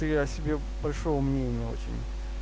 я о себе большого мнения очень